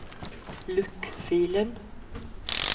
lukk filen